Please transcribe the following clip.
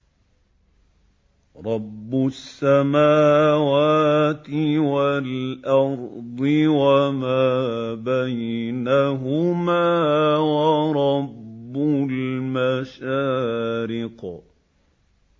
رَّبُّ السَّمَاوَاتِ وَالْأَرْضِ وَمَا بَيْنَهُمَا وَرَبُّ الْمَشَارِقِ